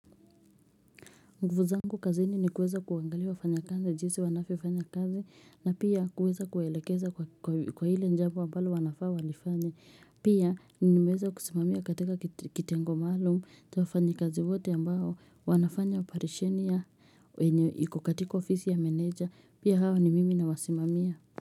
Nguvu zangu kazini ni kuweza kuangalia wafanya kazi jinsi wanvyofanya kazi na pia kuweza kuelekeza kwa ile jambo ambalo wanafaa walifanye. Pia ni meweza kusimamia katika kitengo maalum na wafanyi kazi wote ambao wanafanya oparesheni ya enye iko katika ofisi ya meneja. Pia hawa ni mimi nawasimamia.